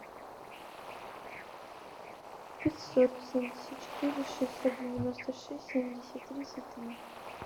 пятьсот семьдесят четыре шестьсот девяносто шесть семьдесят тридцать три